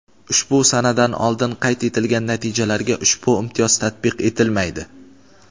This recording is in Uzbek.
Ushbu sanadan oldin qayd etilgan natijalarga ushbu imtiyoz tatbiq etilmaydi.